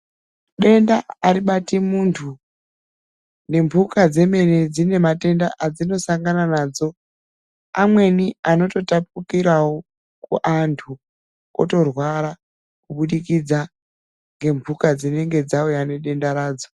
Denda aribati muntu, nemphuka dzemene dzine matenda adzinosangana nadzo. Amweni anototapukirawo kuantu, otorwara kubudikidza ngemphuka dzinenge dzauya nedenda radzo.